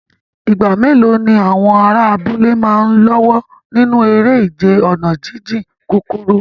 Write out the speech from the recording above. Ìgbà mélòó ni àwọn ará abúlé máa ń lọ́wọ́ nínú eré ìje ọ̀nà jíjìn kúkúrú?